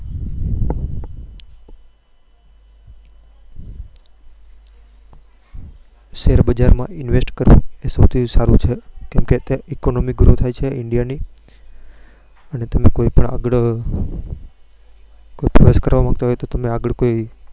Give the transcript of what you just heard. share બજાર invest કરવું સૌથી સારું છે ક economy grow થાય છે india ની અને તમે કોઈ પણ આગળ કોઈ choice કરવા માંગતા હોવ તો આગળ કોઈ